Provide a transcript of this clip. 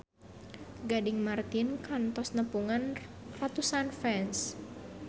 Gading Marten kantos nepungan ratusan fans